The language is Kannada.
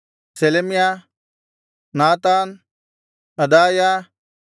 Shelemiah Nathan ಅದಾಯ